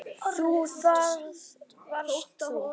Jú, það varst þú.